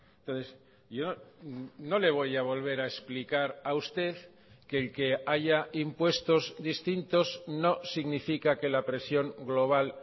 entonces yo no le voy a volver a explicar a usted que el que haya impuestos distintos no significa que la presión global